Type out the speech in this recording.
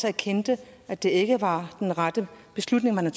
erkendte at det ikke var den rette beslutning man